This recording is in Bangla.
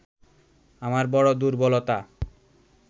আমার বড় দুর্বলতা